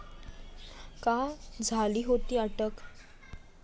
का झाली होती अटक?